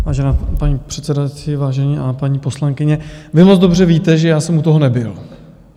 Vážená paní předsedající, vážení a paní poslankyně, vy moc dobře víte, že já jsem u toho nebyl.